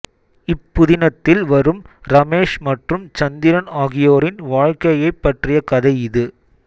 இப்புதினத்தில் வரும் ரமேஷ் மற்றும் சந்திரன் ஆகியோரின் வாழ்க்கையைப் பற்றிய கதை இது